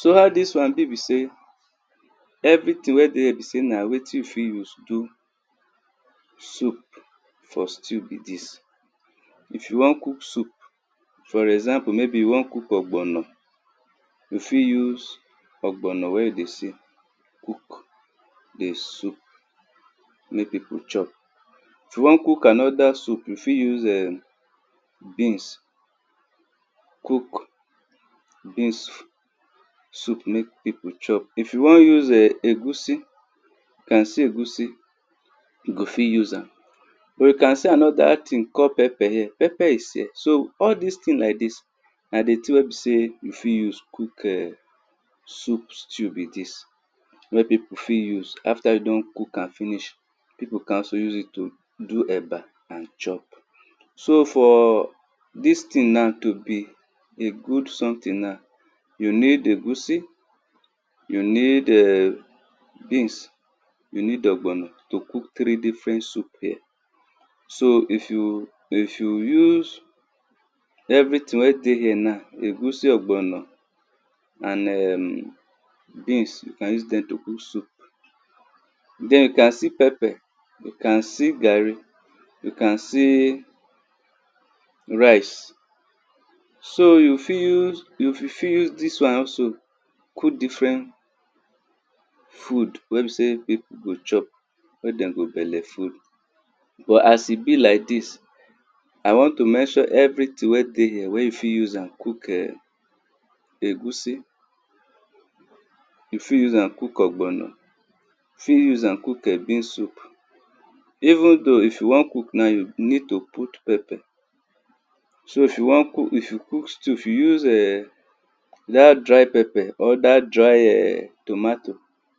So how dis wan b be sey everything wey dey here na wetin you fit use do soup for stew be dis. If you wan cook soup for example maybe you wan cook ogbono, you fit use ogbono wen you dey see cook di soup mek pipu chop.i won cook anoda soup you fit use[um]beans cook beans sop mek pipu chop. if you won use[um]egusi you go fit use am. We can see anoda thing called pepper here so all dis thing like dis na di thing wen be sey we fit use cook like dis wen pipu fit use after you don cook am finish, pipu can still use it to do eba and chop. so for dis thing na tobe good something na, you need egusi, you need beans, you need ogbono to cook three different sou here. So if you use everything wen dey here now egusi, ogbono and en beans, you can use dem to cook soup, den you can see pepper, you can see garri, you can se ric, so you fit use dis wan nalso cook different food wen be sey pipu go chop wey dem go beller full as e be like dis I won to mention everything wen dey here wen you fit use am cook egusi, you fit use am cook ogbono, you fit use am cook[um]beans soup, even though if you wan cook now you need to put pepper, so if you cook stew if you use[um]dat dry pepper or dat dry tomato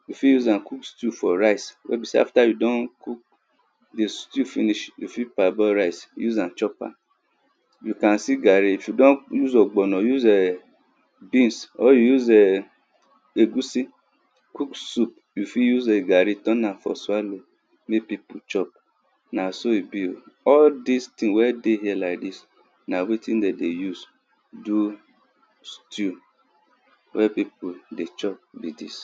you fit use am cook stew for rice wen be sey after you don cook di stew finish, you fit per boil rice use am chop am. And se garri if you don use oghbono use beans or you use egusi cook soup, y oft use garri turn am for swallow mek pipu chop na so e be o. all dis thing wen dey here like dis, na wetin dem dey use do stew wey pipu dey chop be dis.